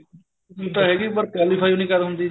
ਪਰ qualify ਵੀ ਨੀ ਕਰ ਪਾਉਂਦੀ